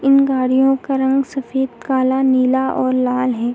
इन गाडियों का रंग सफ़ेद काला नीला और लाल है।